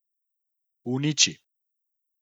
Uniči?